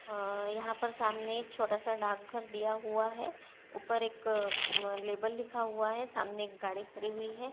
अ यहाँ पर सामने एक छोटा सा डाकघर दिया हुआ है ऊपर एक अम्म लेबल लिखा हुआ है सामने एक गाड़ी खड़ी हुई है।